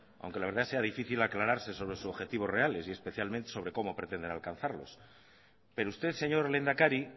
aunque la verdad sea difícil aclararse sobre sus objetivos reales y especialmente sobre cómo pretenden alcanzarlos pero usted señor lehendakari